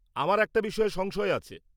আমার একটা বিষয়ে সংশয় আছে